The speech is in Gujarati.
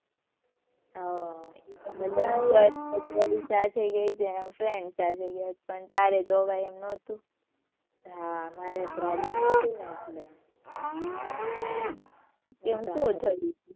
હાં પણ ત્યારે તો અવાય એમ નહોતું. હાં મારે problem